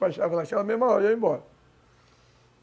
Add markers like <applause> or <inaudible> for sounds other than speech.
<unintelligible> embora.